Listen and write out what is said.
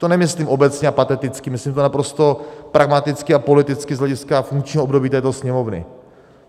To nemyslím obecně a pateticky, myslím to naprosto pragmaticky a politicky z hlediska funkčního období této Sněmovny.